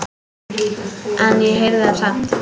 En ég heyrði það samt.